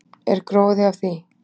Er gróði af því?